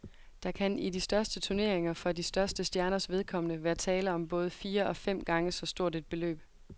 Der kan i de største turneringer for de største stjerners vedkommende være tale om både fire og fem gange så stort et beløb.